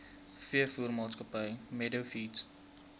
veevoermaatskappy meadow feeds